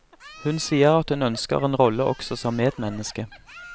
Hun sier at hun ønsker en rolle også som medmenneske.